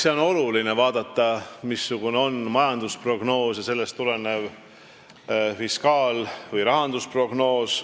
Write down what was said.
Eks tuleb vaadata, missugune on majandusprognoos ja sellest tulenev fiskaal- või rahandusprognoos.